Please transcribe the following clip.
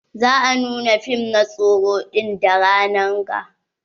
Za a nuna fim na tsoro ɗin da ranan ga.